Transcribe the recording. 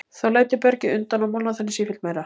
Þá lætur bergið undan og molnar þannig sífellt meira.